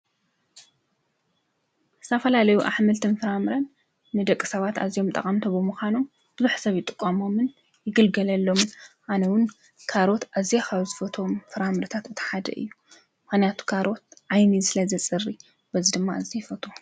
ዝተፈላለዩ ኣሕምልትን ፍራምረን ንደቂ-ሰባት ኣዝዮም ጠቀምቲ ብምኳኖም ብዙሕ ሰብ ይጥቀመሎምን ይግልገለሎምን ኣነ እዉን ኣዝየ ካብ ዝፈትዎም ፍራምረ እቲ ሓደ እዩ ምክንያቱ ካሮት ዓይኒ ስለዘጽሪ በዚ ድማ ኣዝየ ይፈትዎ።